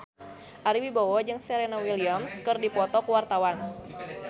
Ari Wibowo jeung Serena Williams keur dipoto ku wartawan